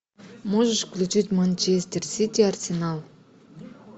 можешь включить манчестер сити арсенал